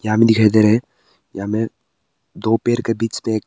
दिखाई दे रहा है यहां पे दो पेड़ के बीच मे--